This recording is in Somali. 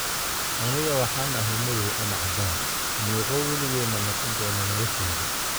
"Anigu waxaan ahay madow ama cadaan, miiqo (waligey) ma noqon doono nolosheyda."